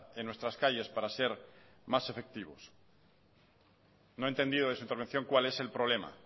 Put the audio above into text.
en nuestras calles para ser más efectivos no he entendido de su intervención cuál es el problema